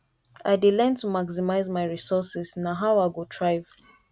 i dey learn to maximize my resources na how i go thrive